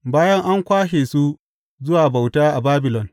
Bayan an kwashe su zuwa bauta a Babilon.